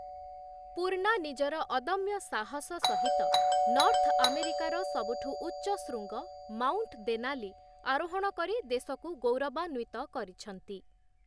ପୂର୍ଣ୍ଣା ନିଜର ଅଦମ୍ୟ ସାହସ ସହିତ ନର୍ଥ ଆମେରିକାର ସବୁଠୁ ଉଚ୍ଚ ଶୃଙ୍ଗ ମାଉଂଟ ଦେନାଲି ଆରୋହଣ କରି ଦେଶକୁ ଗୌରବାନ୍ୱିତ କରିଛନ୍ତି ।